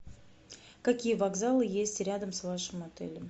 какие вокзалы есть рядом с вашим отелем